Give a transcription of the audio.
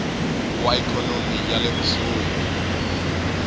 wa ikhonomi ya le kusuhi